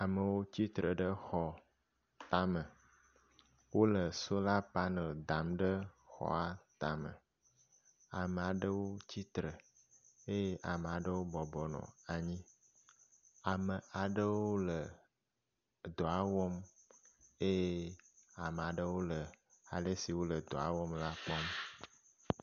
Amewo tsi tre ɖe xɔ tame. Wole solar panel dam ɖe xɔa tame. Amea ɖewo tsi tre eye amea ɖewo bɔbɔ nɔ anyi. Ame aɖewo le edɔa wɔm eye ame aɖewo le ale si wole dɔa wɔm la kpɔm.